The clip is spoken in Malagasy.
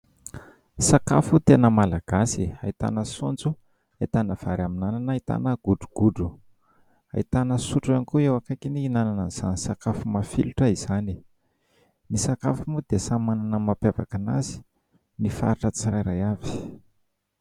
Sakafo tena malagasy ahitana saonjo, ahitana vary amin'ny anana, ahitana godrogodro, ahitana sotro ihany koa eo ankaikiny ihinanana izany sakafo mafilotra izany. Ny sakafo moa dia samy manana ny mampiavaka an'azy ny faritra tsirairay avy.